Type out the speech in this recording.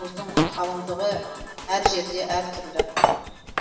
мұздың қалыңдығы әр жерде әртүрлі